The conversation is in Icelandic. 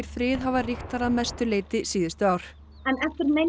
frið hafa ríkt þar að mestu leyti síðustu ár